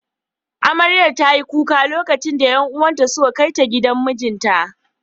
Amarya ta yi kuka lokacin da ’yan uwan ta suka kai ta gidan mijinta.